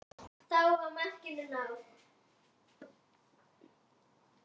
Þá var markinu náð.